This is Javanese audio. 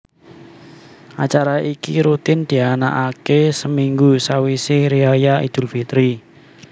Acara iki rutin dianakake seminggu sawise riyaya idul fitri